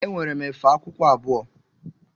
Enwere efe akwụkwọ abụọ.